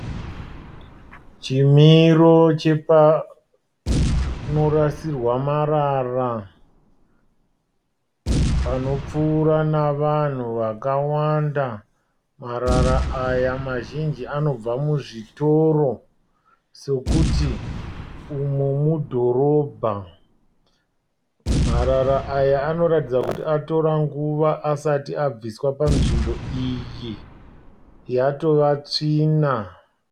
Chimiro chepanorasirwa marara panopfuura navanhu vakawanda. Marara aya mazhinji anobva muzvitiro sekuti umu mudhorobha. Marara aya anoratidza kuti atora nguva asati abviswa panzvimbo iyi yatova tsvina.